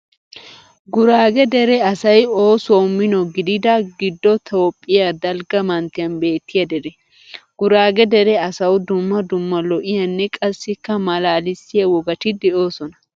Guraage dere asay oosuwawu mino gidida, Giddo Toophphiyaa dalgga manttiyan beettiya dere. Guraage dere asawu dumma dumma lo'iyaanne qassikka malaalissiya wogati de"oosona.